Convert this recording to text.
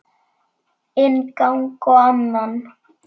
Inn gang og annan.